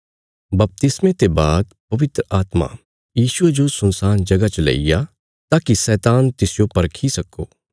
बपतिस्मे ते बाद पवित्र आत्मा यीशुये जो सुनसान जगह च लेईग्या ताकि शैतान तिसजो परखी सक्को